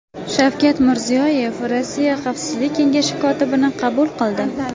Shavkat Mirziyoyev Rossiya Xavfsizlik kengashi kotibini qabul qildi.